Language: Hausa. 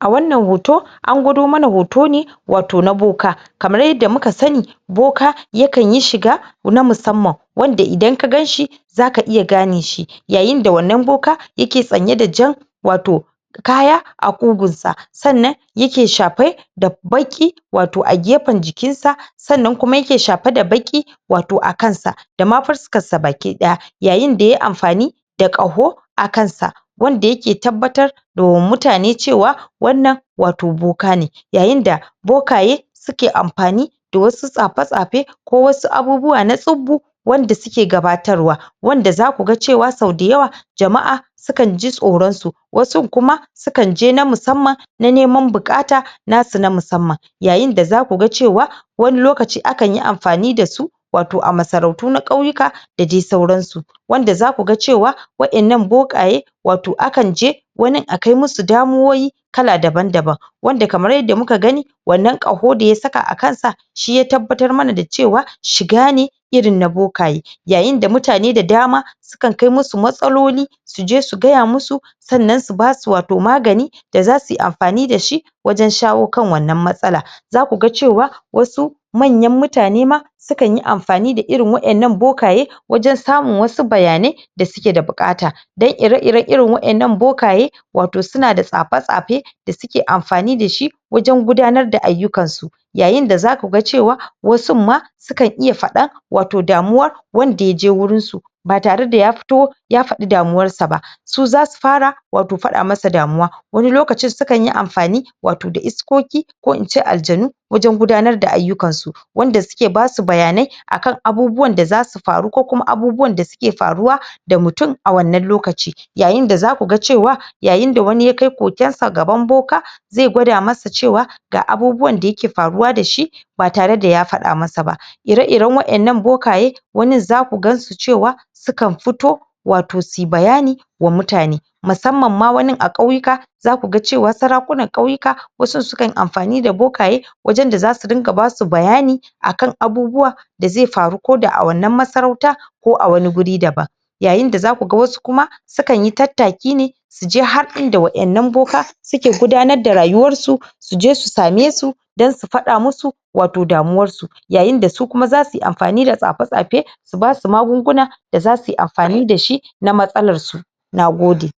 a wannan hoto angwado hoto ne wato na boko kamar yanda muka sani boka yakanyi shiga na musamman wanda idan ka ganshi za ka iya ganeshi yayin da wannan boka yake sanyi da wato jan kaya a ƙugunsa sannan yake shafe da baƙi wato a gefen jikinsa sannan kuma yake shafe da baki wato a kansa dama fuskarsa baki ɗaya yayin da yayi amfan da wato da ƙaho a kansa wanda yake tabbatar da mutane cewa wannan wato boka ne yayin da bokaye suke amfani da wasu tsafe tsafe ko wasu abubuwa na tsubbu wanda suke gabatarwa wanda zaku ga cewa sau da yawa jama'a sukanji tsoransu wasun kuma sukan je na musamman na neman buƙata nasu na musamman yayin da zaku ga cewa wani lokaci akanyi amfani dasu wato a masarauto na ƙauyeka da dai sauransu wanda zaku ga cewa wa innan bokaye wato akan je wanin akai musu damuwoyi kala daban daban wanda kamar yanda muka gani wannan ƙaho da ya saka a kansa shi ya tabbatar mana da cewa shiga ne irin na bokaye yayin da mutane da dama sukan kai musu matsaloli suje su gaya musu sannan su basu wato magani da zasuyi amfani dashi wajan shawo kan wannan matsala zaku ga cewa wasu manyan mutane ma sukanyi amfani irin waɗannan bokaye wajan samun wasu bayanai da suke da buƙata dan ire iran waɗannan bokaye wato suna da tsafe tsafe da suke amfani dashi wajan gudanar da aiyukansu yayin da zaku ga cewa wasun ma sukan iya faɗan wato damuwan wanda yaje wurin su ba tare da yafi to ya faɗi damuwarsa ba su zasu fara wato faɗa masa damuwa wani lokacin sukanyi amfan watoi da iskoƙi ko ince aljanu wajan gudanar da aiyukansu wanda suke basu bayanai akan abubuwan da zasu faru ko kuma abubuwan da suke faruwa mutum a wannan lokaci yayin yayin da zaku ga cewa yayin da wani ya kai koƙwansa gaban boka zai gwada masa cewa ga abubuwan da yake faruwa dashi ba tare da ya faɗa masa ba ire iran waɗannan bokaye wannan zaku gansu cewa sukan fito wato suyi bayani wa mutane musamman ma wani a ƙauyeka zaku ga cewa sarakunan ƙauyeka wasu sukayi amfani da bokaye wajan da zasu dinga basu bayani akan abubuwa da zai faru ko da a wannan masarauta ko a wani wuri daban yayin da zaku ga wasu kuma zasuyi tattaki ne suje har inda waɗannan boka suke gudanar da rayuwarsu suje su samesu dan su faɗa musu damuwarsu yayin da su kuma zasuyi amfani da tsafe tsafe su basu magunguna da zasuyi amfani dashi na matsalar su nagode